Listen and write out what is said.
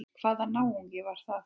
Hvaða náungi var það?